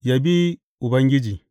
Yabi Ubangiji.